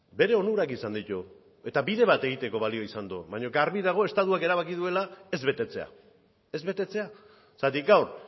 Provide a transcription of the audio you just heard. bere onurak izan ditu eta bide bat egiteko balio izan du baina garbi dago estatuak erabaki duela ez betetzea ez betetzea zergatik gaur